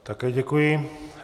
Také děkuji.